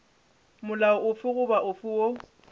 molao ofe goba ofe woo